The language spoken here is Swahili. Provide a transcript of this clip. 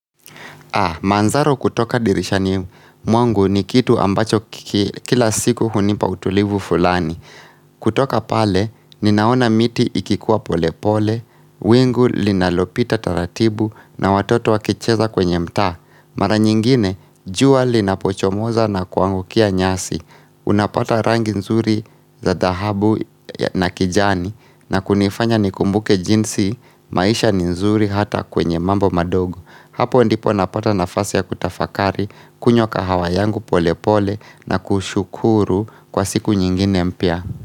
Manzaro kutoka dirishani mwangu ni kitu ambacho kila siku hunipa utulivu fulani. Kutoka pale, ninaona miti ikikuwa pole pole, wingu linalopita taratibu na watoto wakicheza kwenye mtaa Mara nyingine, jua linapochomoza na kuangukia nyasi. Unapata rangi nzuri za dahabu na kijani na kunifanya nikumbuke jinsi maisha ni nzuri hata kwenye mambo madogo, hapo ndipo napata nafasi ya kutafakari kunywa kahawa yangu pole pole na kushukuru kwa siku nyingine mpya.